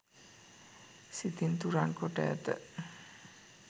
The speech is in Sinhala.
සිතින් තුරන් කොට ඇත.